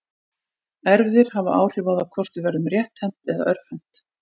Erfðir hafa áhrif á það hvort við verðum rétthent eða örvhent.